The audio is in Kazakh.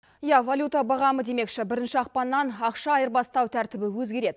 иә валюта бағамы демекші бірінші ақпаннан ақша айырбастау тәртібі өзгереді